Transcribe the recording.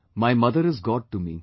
My mother is God to me